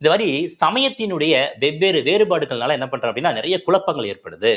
இந்த மாதிரி சமயத்தினுடைய வெவ்வேறு வேறுபாடுகள்னால என்ன பண்றோம் அப்படின்னா நிறைய குழப்பங்கள் ஏற்படுது